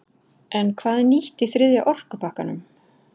En hvað er nýtt í þriðja orkupakkanum?